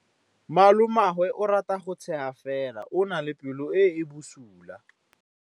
Malomagwe o rata go tshega fela o na le pelo e e bosula.